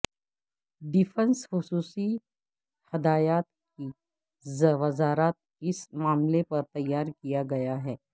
defence خصوصی ہدایات کی وزارت اس معاملے پر تیار کیا گیا ہے